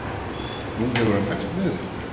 Nú hefur hann æft með ykkur?